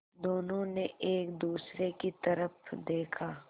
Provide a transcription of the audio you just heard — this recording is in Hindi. दोनों ने एक दूसरे की तरफ़ देखा